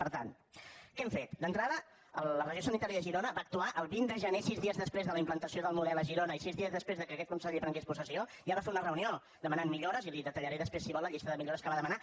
per tant què hem fet d’entrada la regió sanitària de girona va actuar el vint de gener sis dies després de la implantació del model a girona i sis dies després que aquest conseller prengués possessió ja va fer una reunió per demanar millores i li detallaré després si vol la llista de millores que va demanar